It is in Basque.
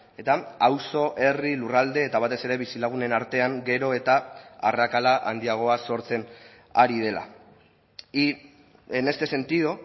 eta auzo herri lurralde eta batez ere bizilagunen artean gero eta arrakala handiagoa sortzen ari dela y en este sentido